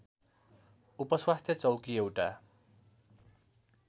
उपस्वास्थ्य चौकी एउटा